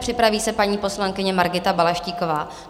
Připraví se paní poslankyně Margita Balaštíková.